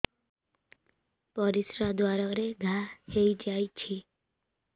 ପରିଶ୍ରା ଦ୍ୱାର ରେ ଘା ହେଇଯାଇଛି